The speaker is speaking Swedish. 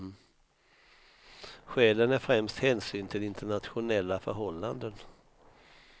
Skälen är främst hänsyn till internationella förhållanden.